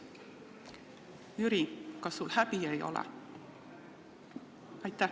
Jüri, kas sul häbi ei ole?